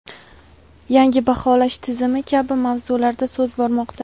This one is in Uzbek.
yangi baholash tizimi kabi mavzularda so‘z bormoqda.